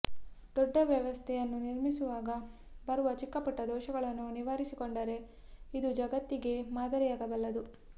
ದೊಡ್ಡ ವ್ಯವಸ್ಥೆಯನ್ನು ನಿರ್ಮಿಸುವಾಗ ಬರುವ ಚಿಕ್ಕ ಪುಟ್ಟ ದೋಷಗಳನ್ನು ನಿವಾರಿಸಿಕೊಂಡರೆ ಇದು ಜಗತ್ತಿಗೇ ಮಾದರಿಯಾಗಬಲ್ಲದು